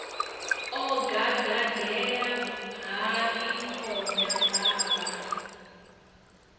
o gagaḓela hai khona baba